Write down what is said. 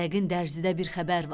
Yəqin dərzidə bir xəbər var.